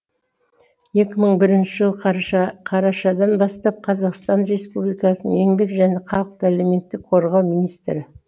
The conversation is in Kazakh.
екі мың бірінші жылы қарашадан бастап қазақстан республикасының еңбек және халықты әлеуметтік қорғау министрі